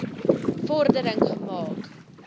vor dering gemaak